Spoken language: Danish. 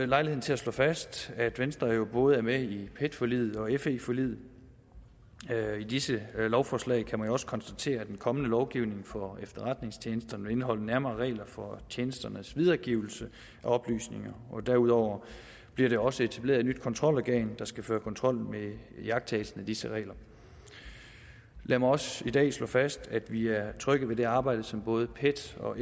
lejligheden til at slå fast at venstre jo både er med i pet forliget og i fe forliget i disse lovforslag kan man jo også konstatere at den kommende lovgivning for efterretningstjenesterne vil indeholde nærmere regler for tjenesternes videregivelse af oplysninger derudover bliver der også etableret et nyt kontrolorgan der skal føre kontrol med iagttagelsen af disse regler lad mig også i dag slå fast at vi er trygge ved det arbejde som både pet og